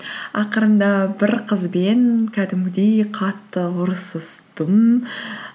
ақырында бір қызбен кәдімгідей қатты ұрсыстым